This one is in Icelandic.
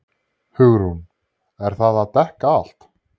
HUgrún: Er það að dekka allt?